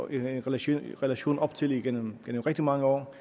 en relation relation op til igennem rigtig mange år